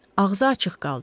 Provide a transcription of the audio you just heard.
Ağzı açıq qaldı.